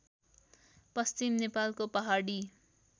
पश्चिम नेपालको पहाडी